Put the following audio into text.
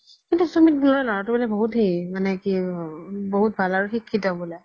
কিন্তু সুমিত বুলা ল'ৰা তো বহুত সেই মানে কি আৰু বহুত ভাল আৰু সিক্শিত বুলে